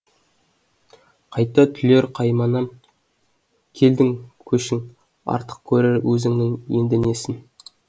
қайта түлер қайманам келдің көшің артық көрер өзіңнен енді несін